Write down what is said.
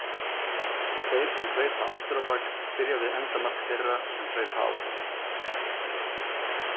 Þeir sem hlaupa aftur á bak byrja við endamark þeirra sem hlaupa áfram.